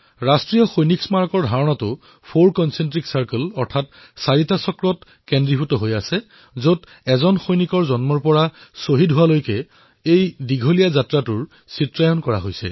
ৰাষ্ট্ৰীয় সৈনিক স্মাৰকৰ ধাৰণা চাৰিটা ঐককেন্দ্ৰিক বৃত্ত অৰ্থাৎ চাৰিটা চক্ৰৰ ওপৰত কেন্দ্ৰীভূত হৈছে যত এজন সৈনিকৰ জন্মৰ পৰা আৰম্ভ কৰি প্ৰাণত্যাগলৈকে যাত্ৰাৰ চিত্ৰায়িত কৰা হৈছে